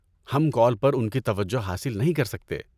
ہم کال پر ان کی توجہ حاصل نہیں کر سکتے۔